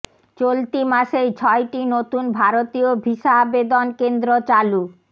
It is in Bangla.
চলতি মাসেই ছয়টি নতুন ভারতীয় ভিসা আবেদন কেন্দ্র চালু